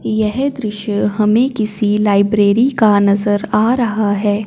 यह दृश्य हमें किसी लाइब्रेरी का नजर आ रहा है।